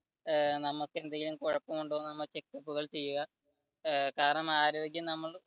ഏർ നമുക്ക് എന്തെങ്കിലും കുഴപ്പുമുണ്ടോ എന്നുഉള്ള checkup കൾ ചെയ്യുക. ഏർ കാരണം ആരോഗ്യം നമ്മൾ